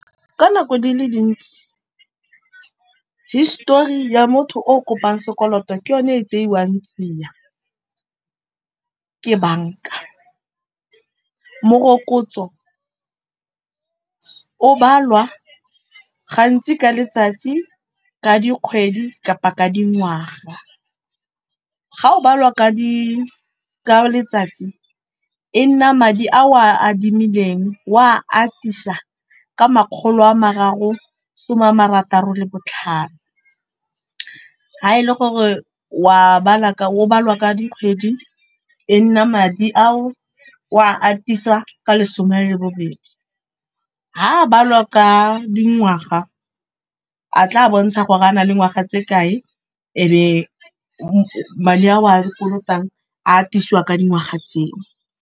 Ka nako di le dintsi hisetori ya motho o kopang sekoloto ke yone e tsewang tsiya ke banka. Morokotso o balwa gantsi ka letsatsi, ka dikgwedi kapa ka dingwaga. Ga o balwa ka letsatsi e nna madi a o a adimileng o a atisa ka makgolo a mararo some a marataro le botlhano. Fa e le gore o balwa ka dikgwedi e nna madi ao o a atisa ka lesome le bobedi, fa o balwa ka dingwaga a tla bontsha gore a na le ngwaga tse kae ebe madi ao wa kolotang a atisiwa ka dingwaga tseo.